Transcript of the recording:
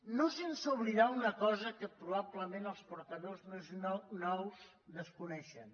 no sense oblidar una cosa que probablement els portaveus més nous desconeixen